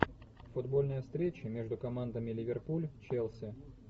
футбольная встреча между командами ливерпуль челси